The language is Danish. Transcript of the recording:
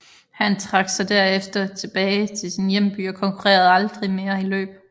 Han trak sig derefter tilbage til sin hjemby og konkurrerede aldrig mere i løb